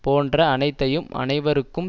போன்ற அனைத்தையும் அனவருக்கும்